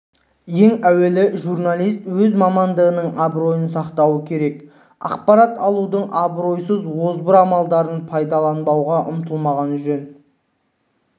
ең әуелі журналист өз мамандығының абыройын сақтауы керек ақпарат алудың абыройсыз озбыр амалдарын пайдалануға ұмтылмағаны жөн